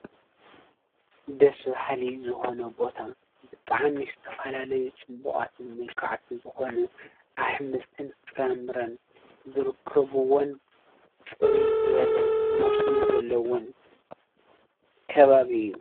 ደስ በሃሊ ዝኮነ ቦታ ብጣዕሚ ዝተፈላለዩ ፅቡቃትን ሙሉካዓትን ዝኮኑ ኣሕምልትን ጥራምረን ዝረከብዎን ፅርይ ዝበለ መስኖ ዘሎዎን ከባቢ እዩ።